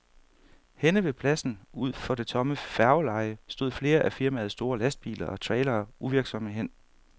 Henne ved pladsen ud for det tomme færgeleje stod flere af firmaets store lastbiler og trailere uvirksomme hen.